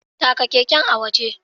Taka keken a waje.